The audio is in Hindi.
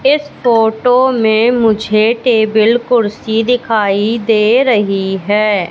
इस फोटो में मुझे टेबील कुर्सी दिखाई दे रही है।